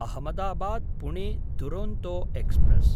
Ahmedabad Pune Duronto express